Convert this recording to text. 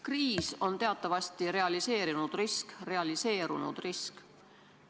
Kriis on teatavasti realiseerunud risk.